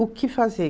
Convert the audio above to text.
O que fazer?